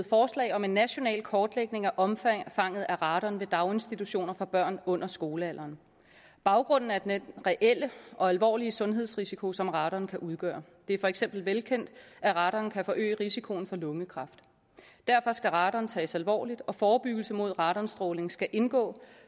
forslag om en national kortlægning af omfanget af radon ved daginstitutioner for børn under skolealderen baggrunden er den reelle og alvorlige sundhedsrisiko som radon kan udgøre det er for eksempel velkendt at radon kan forøge risikoen for lungekræft derfor skal radon tages alvorligt og forebyggelse mod radonstråling skal indgå